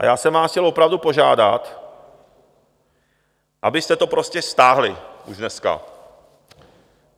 A já jsem vás chtěl opravdu požádat, abyste to prostě stáhli už dneska.